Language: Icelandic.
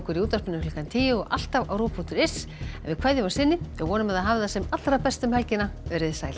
í útvarpinu klukkan tíu í kvöld og alltaf á ruv punktur is en við kveðjum að sinni vonum að þið hafið það sem allra best um helgina veriði sæl